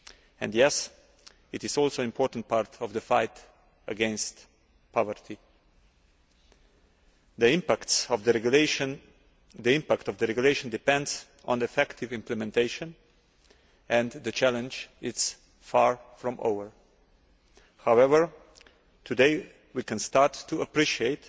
And, yes, it is also an important part of the fight against poverty. The impact of the regulation depends on effective implementation, and the challenge is far from over. However, today we can start to appreciate